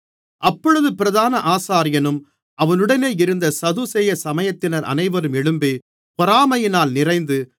அப்பொழுது பிரதான ஆசாரியனும் அவனுடனே இருந்த சதுசேய சமயத்தினர் அனைவரும் எழும்பி பொறாமையினால் நிறைந்து